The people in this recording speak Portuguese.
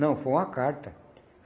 Não, foi uma carta.